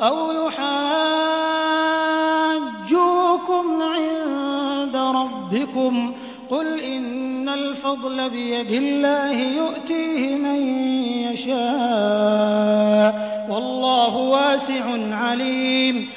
أَوْ يُحَاجُّوكُمْ عِندَ رَبِّكُمْ ۗ قُلْ إِنَّ الْفَضْلَ بِيَدِ اللَّهِ يُؤْتِيهِ مَن يَشَاءُ ۗ وَاللَّهُ وَاسِعٌ عَلِيمٌ